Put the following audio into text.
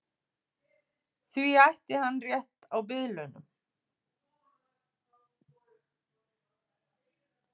Því ætti hann rétt á biðlaunum